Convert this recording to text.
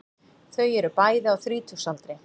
Þau eru bæði á þrítugsaldri